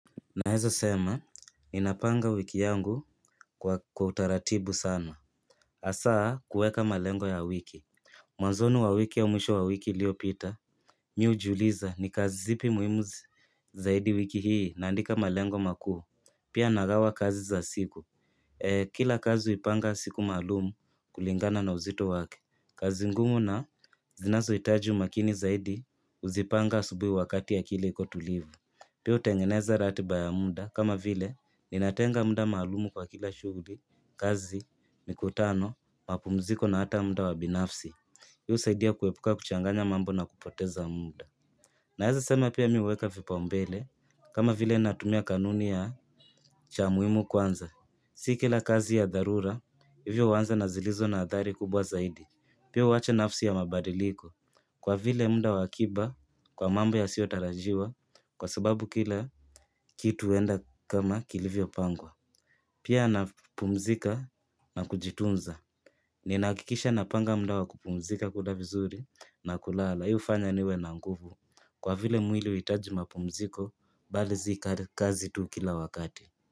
Naeza sema, ninapanga wiki yangu kwa kwa utaratibu sana. Asaa, kueka malengo ya wiki. Mwanzoni wa wiki au mwisho wa wiki liliopita, mi hujiuliza ni kazi zipi muimu zaidi wiki hii naandika malengo maku. Pia nagawa kazi za siku. Kila kazi hupanga siku maalumu kulingana na uzito wake. Kazi ngumu na zinazoitaji makini zaidi, huzipanga asubui wakati akili iko tulivu. Pia hutengeneza ratiba ya muda kama vile ninatenga muda maalumu kwa kila shughuli, kazi, mikutano, mapumziko na hata muda wa binafsi. Hii husaidia kuepuka kuchanganya mambo na kupoteza muda. Naeza sema pia mi huweka vipaumbele kama vile natumia kanuni ya cha muimu kwanza. Si kila kazi ya dharura, hivyo huanza na zilizo na athari kubwa zaidi. Pia uwache nafsi ya mabadiliko. Kwa vile mda wa akiba kwa mambo yasiotarajiwa kwa sababu kila kitu huenda kama kilivyopangwa. Pia napumzika na kujitunza. Ninahakikisha napanga mda wa kupumzika kula vizuri na kulala. Hii hufanya niwe na nguvu. Kwa vile mwili huitaji mapumziko bali si kazi tu kila wakati.